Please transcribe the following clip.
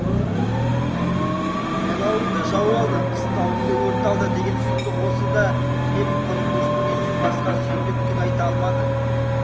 жайлауыңды жау алды қыстауыңды өрт алды деген сұмдық осы да деп құр күрсінгеннен басқа сүйіндік түк айта алмады